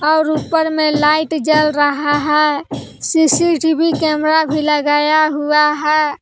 और ऊपर में लाइट जल रहा है सी_सी_टी_वी कैमरा भी लगाया हुआ है।